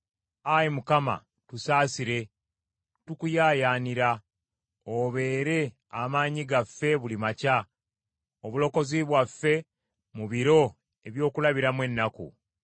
Ayi Mukama tusaasire, tukuyaayaanira. Obeere amaanyi gaffe buli makya, obulokozi bwaffe mu biro eby’okulabiramu ennaku.